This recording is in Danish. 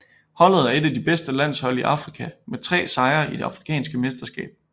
Holdet er et af de bedste landshold i Afrika med tre sejre i det afrikanske mesterskab